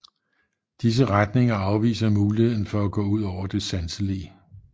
Disse retninger afviser muligheden for at gå ud over det sanselige